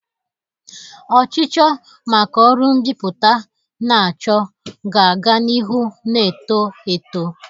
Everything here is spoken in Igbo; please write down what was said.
Ọchịchọ maka ọrụ mbipụta na-achọ ga-aga n'ihu na-eto eto.